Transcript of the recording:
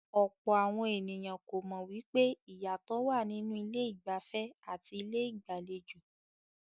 Ọ̀pọ̀ àwọn ènìyàn kò mọ̀ wípé ìyàtọ̀ wà nínú ilé ìgbafẹ́ àti ilé ìgbàlejò.